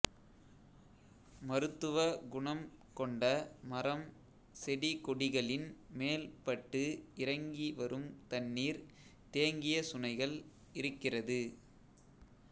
மருத்துவ குனம் கொண்ட மரம் செடிகொடிகளின் மேல் பட்டு இறங்கி வரும் தண்ணீர் தேங்கியசுனைகள் இருக்கிறது